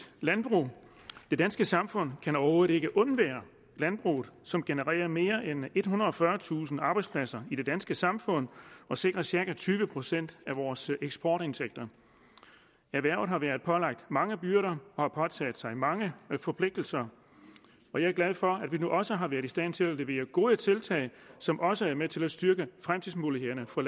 landbrug det danske samfund kan overhovedet ikke undvære landbruget som genererer mere end ethundrede og fyrretusind arbejdspladser i det danske samfund og sikrer cirka tyve procent af vores eksportindtægter erhvervet har været pålagt mange byrder og har påtaget sig mange forpligtelser og jeg er glad for at vi nu også har været i stand til at levere gode tiltag som også er med til at styrke fremtidsmulighederne for